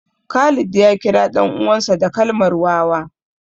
Khalid ya kira ɗan uwansa da kalmar wawa